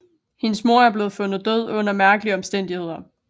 Hendes mor er blevet fundet død under mærkelige omstændigheder